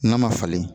N'a ma falen